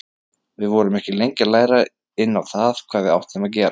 Við vorum ekki lengi að læra inn á það hvað við áttum að gera.